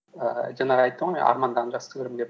ііі жаңағы айттым ғой мен армандағанды жақсы көремін деп